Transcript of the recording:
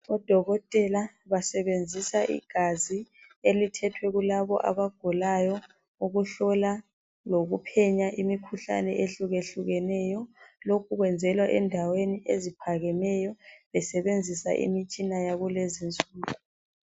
Odokotela basebenzisa igazi elithethwe kulabo abagulayo ukuhlola lokuphenya imikhuhlane ehlukehlukeneyo lokhu kwenzelwa endaweni eziphakemeyo besebenzisa imitshina yakulezinsuku